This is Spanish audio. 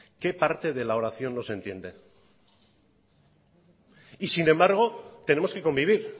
qué parte de la oración no se entiende y sin embargo tenemos que convivir